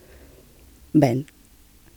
Ben!